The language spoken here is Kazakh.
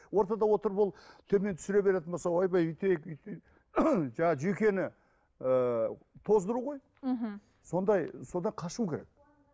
ортада отырып ол төмен түсіре беретін болса ойбай өйтейік жаңа жүйкені ыыы тоздыру ғой мхм сондай содан қашу керек